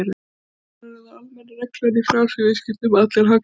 Raunar er það almenna reglan í frjálsum viðskiptum að allir hagnast á þeim.